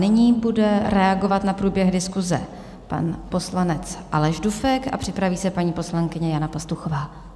Nyní bude reagovat na průběh diskuse pan poslanec Aleš Dufek a připraví se paní poslankyně Jana Pastuchová.